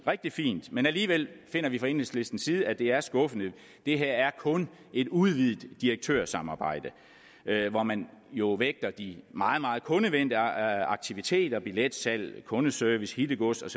rigtig fint men alligevel finder vi fra enhedslistens side at det er skuffende det her er kun et udvidet direktørsamarbejde hvor man jo vægter de meget meget kundevenlige aktiviteter billetsalg kundeservice hittegods